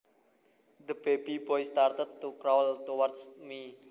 The baby boy started to crawl towards me